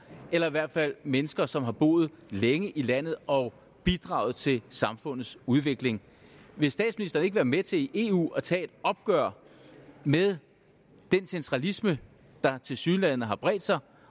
eller i hvert fald mennesker som har boet længe i landet og bidraget til samfundets udvikling vil statsministeren ikke være med til i eu at tage et opgør med den centralisme der tilsyneladende har bredt sig